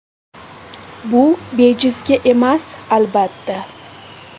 Bu bejizga emas, albatta.